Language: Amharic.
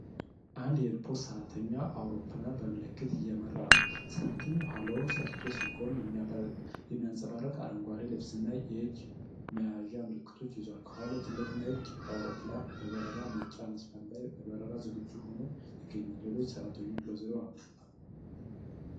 አንድ የኤርፖርት ሰራተኛ አውሮፕላንን በምልክት እየመራ ነው። ሰራተኛው ኋላውን ሰጥቶ ሲቆም፣ የሚያንፀባርቅ አረንጓዴ ልብስና የእጅ መያዣ ምልክቶችን ይዟል። ከኋላው ትልቅ ነጭ አውሮፕላን በበረራ መውጫ መስመር ላይ ለበረራ ዝግጁ ሆኖ ይገኛል። ሌሎች ሰራተኞችም በዙሪያው አሉ።